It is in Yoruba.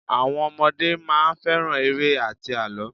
Àwọn ọmọdé máa ń fẹ́ràn eré àti àlọ́.